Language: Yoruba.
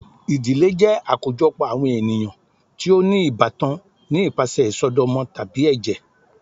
Ìdílé jẹ akojọpọ awọn eniyan ti o ni ibatán ni ipasẹ isọdọmọ tabi ẹjẹ.